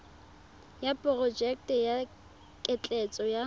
ya porojeke ya ketleetso ya